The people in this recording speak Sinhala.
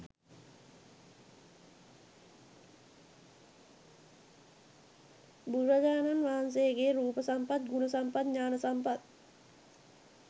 බුදුරජාණන් වහන්සේගෙ රූප සම්පත් ගුණ සම්පත් ඥාන සම්පත්